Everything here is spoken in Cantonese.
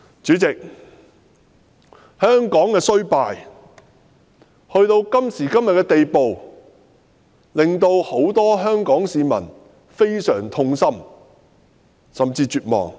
主席，香港衰敗至今時今日的地步，令很多香港市民非常痛心，甚至感到絕望。